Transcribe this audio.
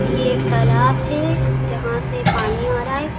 ये एक तालाब है जहां से पानी आ रहा है।